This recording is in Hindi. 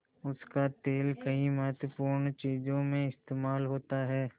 उसका तेल कई महत्वपूर्ण चीज़ों में इस्तेमाल होता है